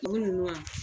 U ninnu wa